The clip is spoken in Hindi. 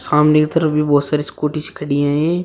सामने की तरफ भी बहोत सारी स्कूटीस खड़ी हैं।